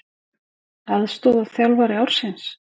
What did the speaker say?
Aðstoðarþjálfari ársins?